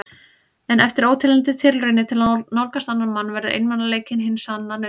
En eftir óteljandi tilraunir til að nálgast annan mann verður einmanaleikinn hin sanna nautn.